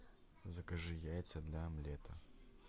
закажи яйца для омлета